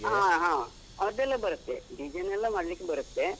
ಹಾ ಹಾ, ಅದೆಲ್ಲ ಬರತ್ತೆ design ಎಲ್ಲ ಮಾಡ್ಲಿಕ್ ಬರತ್ತೆ.